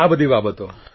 આ બધી બાબતો